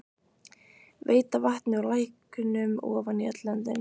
Veita vatni úr læknum ofan í öll löndin.